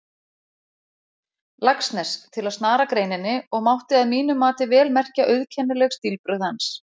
Laxness, til að snara greininni, og mátti að mínu mati vel merkja auðkennileg stílbrögð hans.